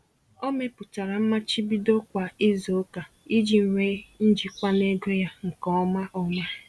Ọ mepụtara mmachibido kwa izuụka iji nwe njikwa n'ego ya nke ọma. ọma.